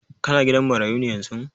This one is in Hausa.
Ka na gidan marayu ne yanzun?